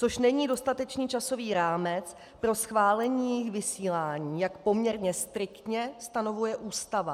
Což není dostatečný časový rámec pro schválení jejich vysílání, jak poměrně striktně stanovuje Ústava.